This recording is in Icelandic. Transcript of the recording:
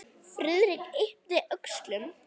Friðrik yppti öxlum.